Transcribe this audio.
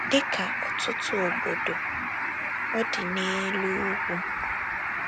Dị ka ọtụtụ obodo, ọ dị n’elu ugwu.